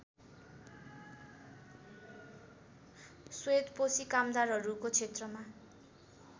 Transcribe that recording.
श्वेतपोशी कामदारहरूको क्षेत्रमा